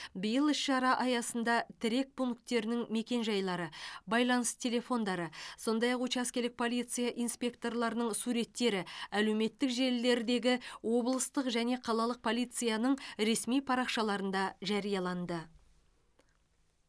биыл іс шара аясында тірек пункттерінің мекенжайлары байланыс телефондары сондай ақ учаскелік полиция инспекторларының суреттері әлеуметтік желілердегі облыстық және қалалық полицияның ресми парақшаларында жарияланды